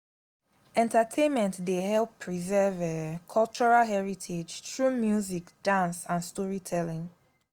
entertainment dey help preserve cultural heritage through music dance and storytelling.